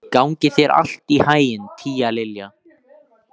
Gangi þér allt í haginn, Tíalilja.